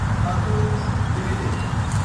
Atul Ltd